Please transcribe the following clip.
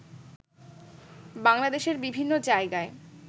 বাংলাদেশের বিভিন্ন জায়গায়